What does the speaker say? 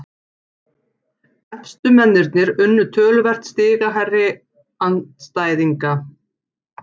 Efstu mennirnir unnu töluvert stigahærri andstæðinga